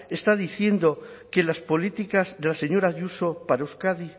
está diciendo que las políticas de la señora ayuso para euskadi